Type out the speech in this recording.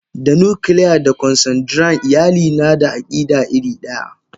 Da nuclear da Consanguine iyali nada akida iridaya.